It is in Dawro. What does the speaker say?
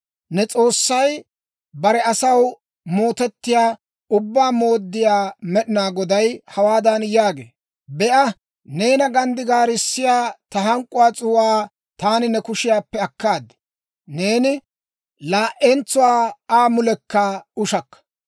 Ne S'oossay, bare asaw mootettiyaa Ubbaa Mooddiyaa Med'inaa Goday hawaadan yaagee; «Be'a; neena ganddigaarissiyaa, ta hank'k'uwaa s'uu'aa taani ne kushiyaappe akkaad; neeni laa"entsuwaa Aa mulekka ushakka.